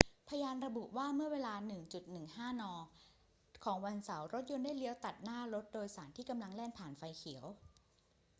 พยานระบุว่า เมื่อเวลา 1.15 น ของวันเสาร์รถยนต์ได้เลี้ยวตัดหน้ารถโดยสารที่กำลังแล่นผ่านไฟเขียว